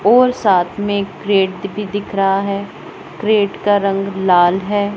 और साथ में एक क्रैट भी दिख रहा है क्रैट का रंग लाल है।